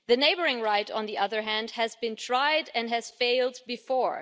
The neighbouring right, on the other hand, has been tried and has failed before.